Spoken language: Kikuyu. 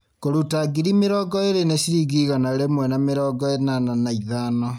Kũruta ngiri mĩrongo ĩrĩ nĩ ciringi igana rĩmwe na mĩrongo ĩnana na ithano